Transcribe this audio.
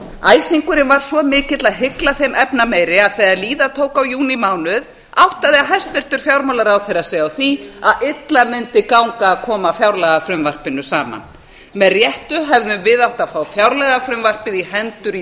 æsingurinn var svo mikill að hygla þeim efnameiri að þegar líða tók á júnímánuð áttaði hæstvirtur fjármálaráðherra sig á því að illa mundi ganga að koma fjárlagafrumvarpinu saman með réttu hefðum við átt að fá fjárlagafrumvarpið í hendur í